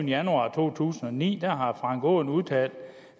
januar to tusind og ni har herre frank aaen udtalt